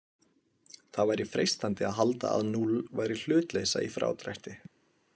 Það væri freistandi að halda að núll væri hlutleysa í frádrætti.